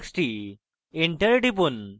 enter টিপুন